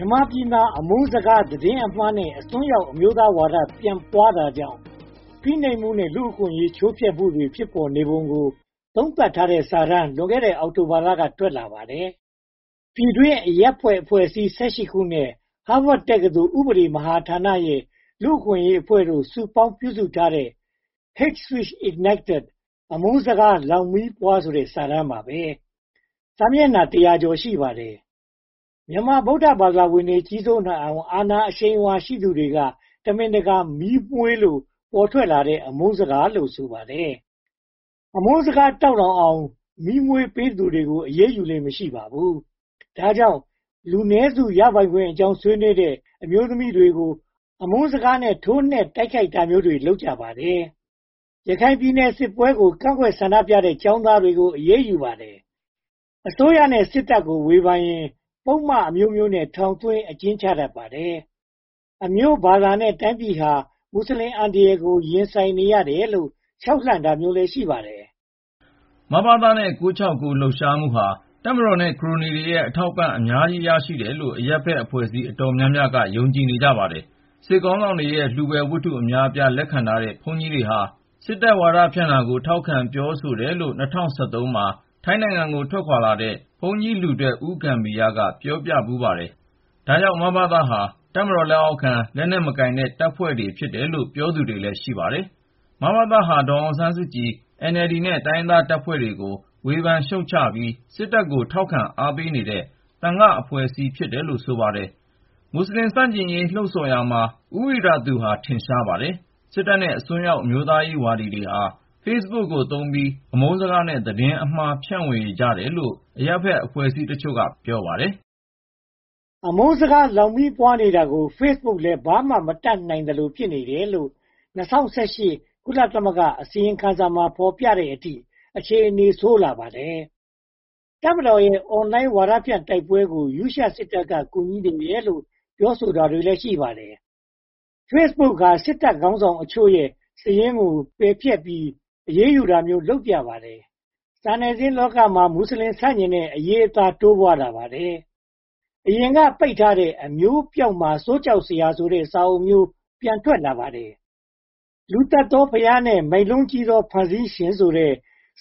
ြန်မာပြည်မှာ အမုန်းစကား၊ သတင်းအမှားနဲ့ အစွန်းရောက် အမျိုးသားဝါဒ ပြန့်ပွားတာကြောင့် ဖိနှိပ်မှုနဲ့ လူ့အခွင့်အရေး ချိုးဖောက်မှုတွေ ဖြစ်ပေါ်နေပုံကို သုံးသပ်ထားတဲ့စာတမ်း လွန်ခဲ့တဲ့ အောက်တိုဘာလက ထွက်လာပါတယ်။ ပြည်တွင်းအရပ်ဘက်အဖွဲ့အစည်း (၁၈) ခုနဲ့ Harvard တက္ကသိုလ် ဥပဒေမဟာဌာနရဲ့ လူ့အခွင့်အရေးအဖွဲ့တို့ စုပေါင်းပြုစုထားတဲ့ Hate Speech Ignited အမုန်းစကားလောင်မီးပွား ဆိုတဲ့ စာတမ်းပါပဲ။ စာမျက်နှာတရာကျော် (၁၂၂) ရှိပါတယ်။ မြန်မာ ဗုဒ္ဓဘာသာဝင်တွေ ကြီးစိုးနိုင်အောင် အာဏာအရှိန်အဝါ ရှိသူတွေက တမင်တကာ မီးမွှေးလို့ ပေါ်ထွက်လာတဲ့ အမုန်းစကားလို့ ဆိုပါတယ်။ အမုန်းစကားတောက်လောင်အောင် မီးမွှေးပေးသူကို အရေးယူလေ့ မရှိပါဘူး။ ဒါကြောင့် လူနည်းစု ရပိုင်ခွင့်အကြောင်း ဆွေးနွေးတဲ့ အမျိုးသမီးတွေကို အမုန်းစကားနဲ့ ထိုးနှက်တိုက်ခိုက်တာမျိုးတွေ လုပ်ကြပါတယ်။ ရခိုင်ပြည်နယ်စစ်ပွဲကို ကန့်ကွက်ဆန္ဒပြတဲ့ ကျောင်းသားတွေကိုတော့ အရေးယူပါတယ်။ အစိုးရနဲ့ စစ်တပ်ကို ဝေဖန်ရင် ပုဒ်မအမျိုးမျိုးနဲ့ ထောင်သွင်းအကျဉ်းချတတ်ပါတယ်။ အမျိုးဘာသာနဲ့ တိုင်းပြည်ဟာ မွတ်စလင်အန္တရာယ်ကို ရင်ဆိုင်နေရတယ်လို့ ခြောက်လှန့်တာမျိုးလည်း ရှိပါတယ်။ မဘသနဲ့ ၉၆၉ လှုပ်ရှားမှုတွေဟာ တပ်မတော်နဲ့ ခရိုနီတွေရဲ့ အထောက်အပံ့ အများကြီးရရှိတယ်လို့ အရပ်ဘက်အဖွဲ့အစည်း အတော်များများက ယုံကြည်ကြပါတယ်။ စစ်ခေါင်းဆောင်တွေရဲ့ လှုဖွယ်ဝတ္ထု အများအပြား လက်ခံထားတဲ့ ဘုန်းကြီးတွေဟာ စစ်တပ်ဝါဒဖြန့်တာကို ထောက်ခံပြောဆိုတယ်လို့ ၂၀၁၃ မှာ ထိုင်းနိုင်ငံကို ထွက်ခွါခဲ့တဲ့ ဘုန်းကြီးလူထွက် ဦးဂမ္ဘီရ က ပြောဖူးပါတယ်။ ဒါကြောင့် မဘသ ဟာ တပ်မတော်လက်အောက်ခံ လက်နက်မကိုင်တဲ့ တပ်ဖွဲ့ဖြစ်တယ်လို့ ပြောသူတွေလည်း ရှိပါတယ်။ မဘသ ဟာ ဒေါ်အောင်ဆန်းစုကြည်၊ NLD နဲ့ တိုင်းရင်းသားတပ်ဖွဲ့တွေကို ဝေဖန်ရှုတ်ချပြီး စစ်တပ်ကို ထောက်ခံအားပေးနေတဲ့ သံဃာအဖွဲ့အစည်း ဖြစ်တယ်လို့ ဆိုပါတယ်။ မွတ်စလင်ဆန့်ကျင်ရေး လှုံဆော်ရာမှာ ဦးဝိရသူဟာ ထင်ရှားပါတယ်။ စစ်တပ်နဲ့ အစွန်းရောက် အမျိုးသားဝါဒီတွေဟာ Facebook ကို သုံးပြီး၊ အမုန်းစကားနဲ့ သတင်းအမှား ဖြန့်ဝေကြတယ်လို့ အရပ်ဘက်အဖွဲ့အစည်းအချို့က ပြောပါတယ်။ အမုန်းစကားလောင် မီးပွားနေတာကို Facebook ကလည်း ဘာမှ မတတ်နိုင်သလို ဖြစ်တယ်လို့ ၂၀၁၈ ကုလသမဂ္ဂ အစီရင်ခံစာ ဖော်ပြတဲ့အထိ အခြေအနေ ဆိုးဝါးလာပါတယ်။ တပ်မတော်ရဲ့ Online ဝါဒဖြန့် တိုက်ပွဲကို ရုရှားစစ်တပ်က ကူညီနေတယ်လို့ ပြောဆိုတာတွေလည်း ရှိပါတယ်။ Facebook ဟာ စစ်တပ်ခေါင်းဆောင်အချို့ရဲ့ စာရင်းကို ပယ်ဖျက်ပြီး အရေးယူတာမျိုး လုပ်ပြပါတယ်။ စာနယ်ဇင်းလောကမှာ မွတ်စလင် ဆန့်ကျင်တဲ့ အရေးအသား တိုးပွားလာပါတယ်။ အရင်က ပိတ်ထားတဲ့ “အမျိုးပျောက်မှာ စိုးကြောက်စရာ” ဆိုတဲ့ စာအုပ်မျိုးတွေ ပြန့်ထွက်လာပါတယ်။ “လူသတ်သောဘုရား နှင့် မိုက်လုံးကြီးသော ဖန်ဆင်းရှင်” ဆိုတဲ့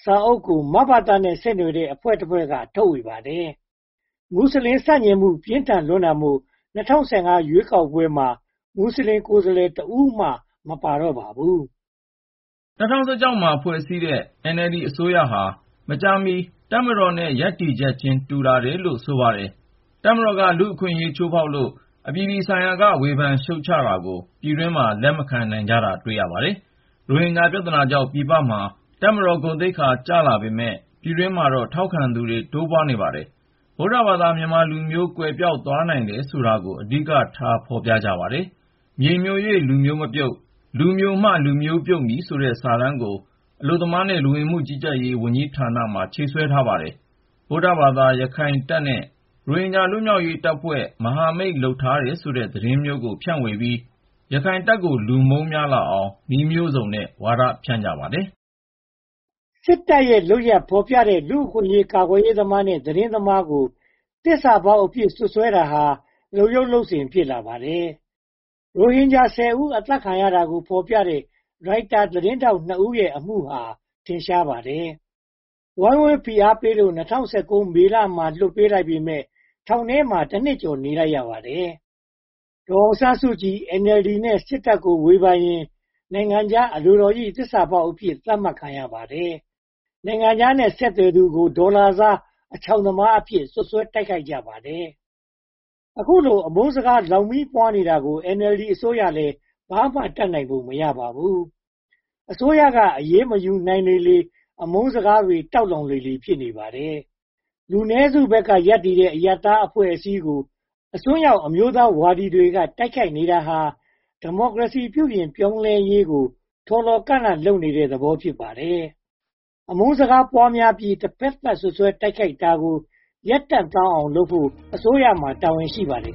စာအုပ်ကို မဘသနဲ့ ဆက်နွှယ်တဲ့ အဖွဲ့တဖွဲ့က ထုတ်ဝေပါတယ်။ မွတ်စလင်ဆန့်ကျင်မှု ပြင်းထန်လွန်းတာမို့ ၂၀၁၅ ရွေးကောက်ပွဲမှာ မွတ်စလင် ကိုယ်စားလှယ်တစ်ဦးမှ မပါတော့ပါဘူး။ ၂၀၁၆ မှာ ဖွဲ့စည်းတဲ့ NLD အစိုးရဟာ မကြာမီ တပ်မတော်ရဲ့ ရပ်တည်ချက်ချင်း တူလာတယ်လို့ ဆိုပါတယ်။ တပ်မတော်က လူ့အခွင့်အရေး ချိုးဖျက်လို့ အပြည်ပြည်ဆိုင်ရာက ဝေဖန်ရှုတ်ချတာကို ပြည်တွင်းမှာ လက်မခံနိုင်ကြတာ တွေ့ရပါတယ်။ ရိုဟင်ဂျာ ပြဿနာကြောင့် ပြည်ပမှာ တပ်မတော်သိက္ခာကျလာပေမယ့် ပြည်တွင်းမှာတော့ ထောက်ခံသူတွေ တိုးပွားနေပါတယ်။ ဗုဒ္ဓဘာသာ မြန်မာလူမျိုး ကွယ်ပျောက်သွားနိုင်တယ်ဆိုတာကို အဓိကထား ဖော်ပြကြပါတယ်။ “မြေမျို၍ လူမျိုးမပြုတ် လူမျိုမှ လူမျိုးပြုတ်မည်” ဆိုတဲ့ စာတမ်းကို အလုပ်သမားနဲ့ လူ့ဝင်မှုကြီးကြပ်ရေးဝန်ကြီးဌာနမှာ ချိတ်ဆွဲထားပါတယ်။ ဗုဒ္ဓဘာသာ ရခိုင်တပ်နဲ့ ရိုဟင်ဂျာလွတ်မြောက်ရေးတပ်ဖွဲ့ မဟာမိတ်လုပ်ထားတယ်ဆိုတဲ့ သတင်းမျိုးကို ဖြန့်ဝေပြီး ရခိုင်တပ်ကို လူမုန်းများလာအောင် နည်းမျိုးစုံနဲ့ ဝါဒဖြန့်ကြပါတယ်။ စစ်တပ်ရဲ့ လုပ်ရပ်ဖော်ပြတဲ့ လူ့အခွင့်အရေး ကာကွယ်ရေးသမားနဲ့ သတင်းသမားတွေကို သစ္စာဖောက်အဖြစ် စွပ်စွဲတာဟာ လုပ်ရိုးလုပ်စဉ်လို ဖြစ်လာပါတယ်။ ရိုဟင်ဂျာ (၁၀) ဦး အသတ်ခံရတာကို ဖော်ပြတဲ့ ရိုက်တာသတင်းထောက် (၂) ဦး အမှုဟာ ထင်ရှားပါတယ်။ ဝိုင်းဝန်းဖိအားပေးလို့ ၂၀၁၉ မေလမှာ လွှတ်ပေးလိုက်ပေမယ့် ထောင်ထဲမှာ (၁) နှစ်ကျော် နေလိုက်ရပါတယ်။ ဒေါ်အောင်ဆန်းစုကြည်၊ NLD နဲ့ စစ်တပ်ကို ဝေဖန်ရင် နိုင်ငံခြားအလိုတော်ရိ သစ္စာဖောက်အဖြစ် သတ်မှတ်ခံရပါတယ်။ နိုင်ငံခြားနဲ့ ဆက်သွယ်သူကို ဒေါ်လာစားတဲ့ အချောင်သမားအဖြစ် စွပ်စွဲတိုက်ခိုက်ကြပါတယ်။ အခုလို အမုန်းစကားလောင် မီးပွားနေတာကို NLD အစိုးရကလည်း ဘာမှတတ်နိုင်ပုံ မရပါဘူး။ အစိုးရက အရေးမယူနိုင်လေလေ အမုန်းစကားတွေ တောက်လောင်လေလေ ဖြစ်နေပါတယ်။ လူနည်းစုဘက်က ရပ်တည်တဲ့ အရပ်ဘက်အသင်းအဖွဲ့တွေကို အစွန်းရောက်အမျိုးသားရေးဝါဒတွေက တိုက်ခိုက်နေတာဟာ ဒီမိုကရေစီ ပြုပြင်ပြောင်းလဲရေးကို ထော်လော်ကန့်လန့် လုပ်နေတဲ့သဘော ဖြစ်ပါတယ်။ အမုန်းစကားပွားများပြီး တဖတ်သတ် စွပ်စွဲတိုက်ခိုက်တာကို ရပ်တန့်သွားအောင်လုပ်ဖို့ အစိုးရမှာ တာဝန်ရှိပါတယ်